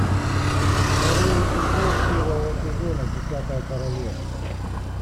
второй эпизод первого сезона десятое королевство